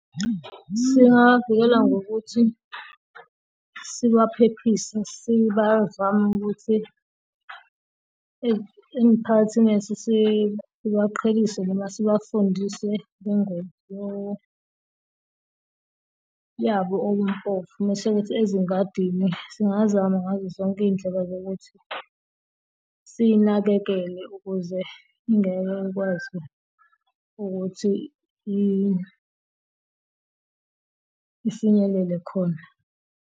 Singawavikela ngokuthi sibaphephise sibazame ukuthi emphakathini yethu sibaqhelise noma sibafundise ingoma yabo okumpofu masekuthi ezisengadini singazama ngazo zonke izindlela zokuthi siyinakekele ukuze angeke akwazi ukuthi ifinyelele khona.